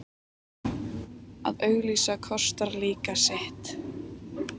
Að auglýsa kostar líka sitt.